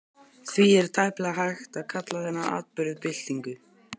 Því er tæplega hægt að kalla þennan atburð byltingu.